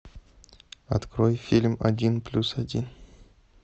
открой фильм один плюс один